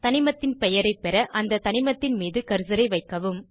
தனிமத்தின் பெயரைப் பெற அந்த தனிமத்தின் மீது கர்சரை வைக்கவும்